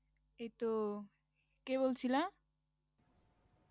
এইতো কে বলছিলে?